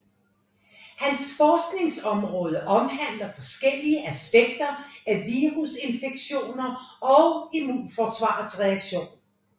Hans forskningområde omhandler forskellige aspekter af virusinfektioner og immnforsvarets reaktion